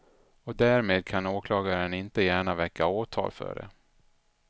Och därmed kan åklagaren inte gärna väcka åtal för det.